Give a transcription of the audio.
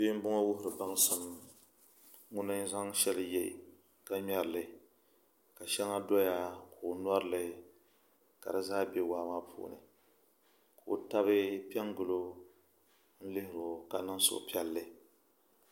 bia m-bɔŋɔ n-wuhiri baŋsim ŋuni zaŋ shɛli ye ka ŋmɛri li ka shɛŋa doya ka o nori li ka di zaa be waa maa puuni o taba pe n-gili o lihiri o ka niŋ suh'piɛlli